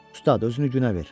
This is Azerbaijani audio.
Ustad özünü günə ver.